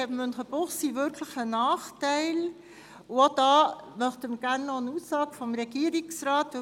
Diesbezüglich hat Münchenbuchsee tatsächlich einen Nachteil, und auch dazu möchten wir noch gerne eine Äusserung vom Regierungsrat hören.